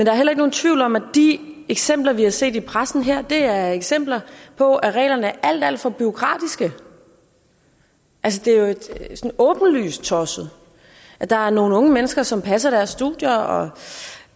er heller nogen tvivl om at de eksempler vi har set i pressen her er eksempler på at reglerne er alt alt for bureaukratiske altså det er jo åbenlyst tosset at der er nogle unge mennesker som passer deres studier og